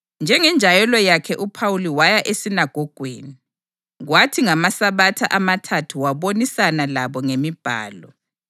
Njengenjayelo yakhe uPhawuli waya esinagogweni, kwathi ngamaSabatha amathathu wabonisana labo ngeMibhalo,